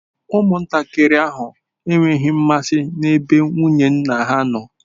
Ụmụntakịrị ahụ enweghị mmasị n'ebe nwunye nna ha nọ.